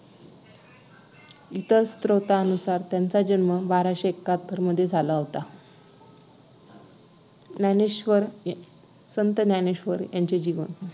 इतर स्तोत्रांनुसार त्यांच्या जन्म बाराशे एक्काहत्तर मध्ये झाला होता ज्ञानेश्वर संत ज्ञानेश्वर यांचे जीवन